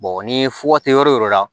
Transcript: ni fura tɛ yɔrɔ o yɔrɔ la